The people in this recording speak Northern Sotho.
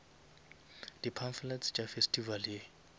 di pamphlets tša festival ye